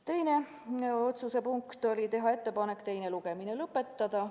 Teine otsuse punkt oli teha ettepanek teine lugemine lõpetada.